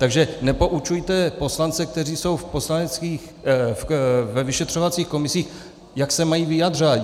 Takže nepoučujte poslance, kteří jsou ve vyšetřovacích komisích, jak se mají vyjadřovat.